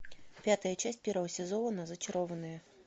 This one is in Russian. пятая часть первого сезона зачарованные